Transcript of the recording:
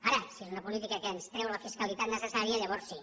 ara si és una política que ens treu la fiscalitat necessària llavors sí